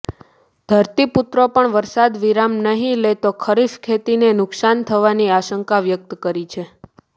ધરતીપુત્રો પણ વરસાદ વિરામ નહીં લે તો ખરીફ ખેતીને નુક્સાન થવાની આશંકા વ્યક્ત કરી છે